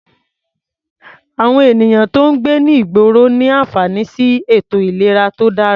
Àwọn ènìyàn tó ń gbé ní ìgboro ní àǹfààní sí ètò ìlera tó dáa.